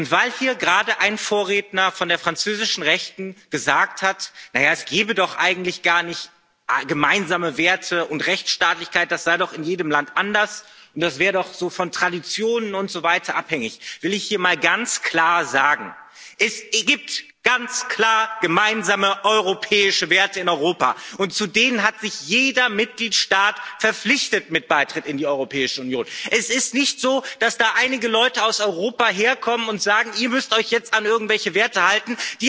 Und weil hier gerade ein Vorredner von der französischen Rechten gesagt hat, na ja, es gebe doch eigentlich gar nicht gemeinsame Werte und Rechtsstaatlichkeit, das sei doch in jedem Land anders, und das wäre auch von Traditionen und so weiter abhängig, will ich hier mal ganz klar sagen Es gibt ganz klar gemeinsame, europäische Werte in Europa, und zu denen hat sich jeder Mitgliedstaat mit seinem Beitritt zur Europäischen Union verpflichtet. Es ist nicht so, dass da einige Leute aus Europa herkommen und sagen, ihr müsst euch jetzt an irgendwelche Werte halten.